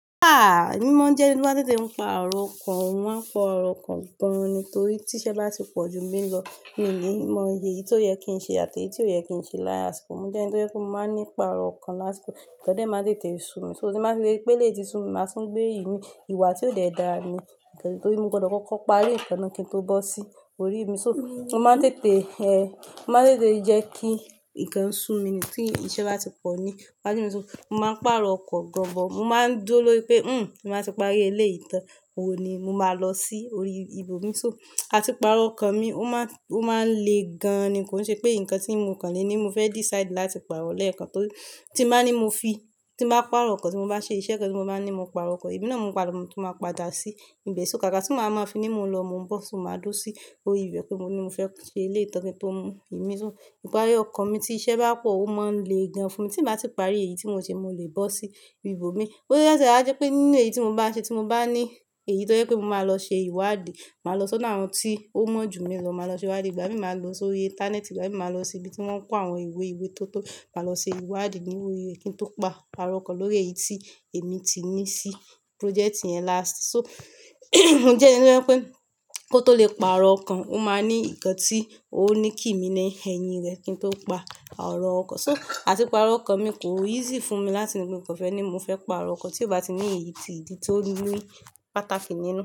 Ah! Èmi ma n jẹ́ ẹni tó máa ń tètè ń pàrọ̀ ọkàn, mo máa ń pàrọ̀ ọkàn gan-an ni torí tí iṣẹ́ bá ti pọ̀ ju mi lọ, mi ò ní mọ iyè ìdí tí ó yẹ kí n ṣe àti èyí tí ò yẹ kí n ṣe láwọn àsìkò. Mo jẹ́ ẹni tó yẹ kó máa ní pàrọ̀ ọkàn lásìkò, nkan dẹ́ má tètè sun mi, so tí máa ti ri pe eléyìí sún mi, màá tún gbé imi, ìwà tí ò le dá ni, torí mo gbọdọ̀ kọ́kọ́ parí ikàn na kí n tó bọ́ sí orí mi. So mo máa ń tètè, ẹ, mo máa ń tètè jẹ́ kí ǹkan ń sun mi ni tí iṣẹ́ bá ti pọ̀ ni. Mo máa ń tètè sun, mo máa ń pàrọ̀ ọkọ̀ gan-an, mo máa ń dúró lórí pé, "Hmm, màá ti parí eléyìí tán," òun ni mo máa lọ sí orí ibòmí. So àti pàrọ̀ ọkàn mi, ó máa ń, ó máa ń le gan-an ni, kò n ṣe pé ǹkan tí mo kàn lé ní mo fẹ́ decide láti pàrọ̀ lẹ́ẹ̀kan tóri, tí n màá ní mo fi, tí mo bá pàrọ̀ ọkàn tí mo bá ṣe iṣẹ́ kan tí mo bá ní mo pàrọ̀ ọkàn, èmi na ni mo padà, mo tún máa padà sí ibẹ̀. So káàkà tí màá máa fi ní mo ń lọ, mo ń bọ̀, so màá dúró sí orí ìbẹ̀ pe mo ní mo fẹ́ ṣe eléyìí tán kí n tó mu ìmi so, ìparí ọkàn mi tí iṣẹ́ bá pọ̀ ó máa ń le gan fún mi. Tí n bá ti parí èyí tí mo ń ṣe, mo lè bọ́ sí ibòmí. Bóyá oti e wa jẹ́ pé nínú èyí tí mo bá ṣe tí mo bá ní èyí tó jẹ pé mo máa lọ ṣe ìwádìí, màá lọ sọ́nà ohun tí ó mọ̀ ju mi lọ, màá lọ ṣe ìwádìí, ìgbà mii màá gbé sórí íńtánẹ́ẹ̀tì, ìgbà mii màá lọ sí ibi tí wọ́n ń kó àwọn ìwé ìwé tó tó, mo lọ se ìwádìí nínú rẹ, ki to paarọ kan lórí èyí tí èmi ti ni si project yan last. So mo jẹ́ ẹni tó hẹ́ pé kó tó lè pàrọ̀ ọkàn, ó máa ní ǹkan tí ó ní kí mi ní ẹyìn rẹ̀ kí n tó pa arọ̀ ọkàn. So àti pàrọ̀ ọkàn mi kò easy fún mi láti ní pé mo kàn fẹ́ ní mo fẹ́ pàrọ̀ ọkàn tí ó bá ti ní èyí tí ìdí tó ní pàtàkì ní inú.